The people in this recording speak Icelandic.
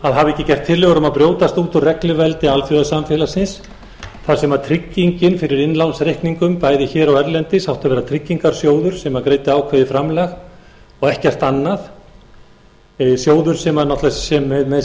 að hafa ekki gert tillögur um að brjótast út úr regluveldi alþjóðasamfélagsins þar sem tryggingin fyrir innlánsreikningum bæði hér og erlendis átti að vera tryggingasjóður sem greiddi ákveðið framlag og ekkert annað sjóður með sína